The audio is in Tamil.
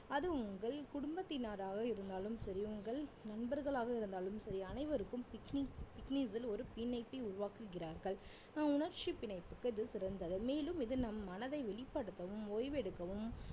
அது உங்கள் குடும்பத்தினராக இருந்தாலும் சரி உங்கள் நண்பர்களாக இருந்தாலும் சரி அனைவருக்கும் picnic ஒரு பிணைப்பை உருவாக்குகிறார்கள் அஹ் உணர்ச்சிப் பிணைப்புக்கு இது சிறந்தது மேலும் இது நம் மனதை வெளிப்படுத்தவும் ஓய்வெடுக்கவும்